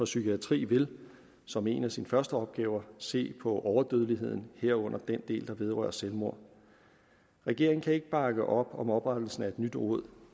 psykiatri vil som en af sine første opgaver se på overdødeligheden herunder den del der vedrører selvmord regeringen kan ikke bakke op om oprettelsen af et nyt råd